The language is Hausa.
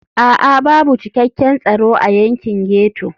A'a babu cikakken tsaro a yankin ghetto.